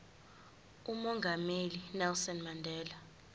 umongameli unelson mandela